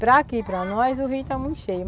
Para aqui, para nós, o rio está muito cheio.